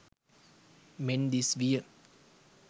මෙන් දිස් විය.